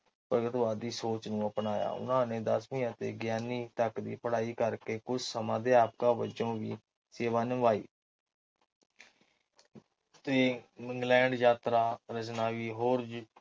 ਭਗਤਵਾਦੀ ਸੋਚ ਨੂੰ ਅਪਣਾਇਆ ਉਹਨਾਂ ਨੇ ਦਸਵੀ ਅਤੇ ਤਕ ਦੀ ਪੜ੍ਹਾਈ ਕਰਕੇ ਕੁਝ ਸਮ੍ਹਾ ਅਧਿਆਪਿਕ ਵਜੋਂ ਵੀ ਸੇਵਾ ਨਿਭਾਈ ਸੀ। ਇੰਗਲੈਂਡ ਜਾਤਰਾ ਰਚਨਾਵੀ ਅਤੇ ਹੋਰ